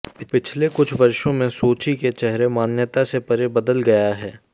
पिछले कुछ वर्षों में सोची के चेहरे मान्यता से परे बदल गया है